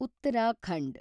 Uttarakhand